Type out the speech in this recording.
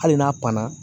Hali n'a panna